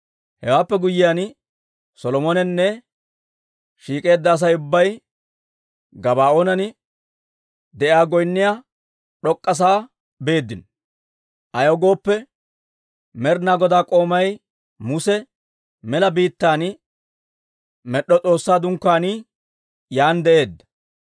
Hewaappe guyyiyaan, Solomoninne shiik'eedda Asay ubbay Gabaa'oonan de'iyaa goynniyaa d'ok'k'a sa'aa beeddino; ayaw gooppe, Med'inaa Godaa k'oomay Muse mela biittaan med'd'o S'oossaa Dunkkaanii yaan de'eedda.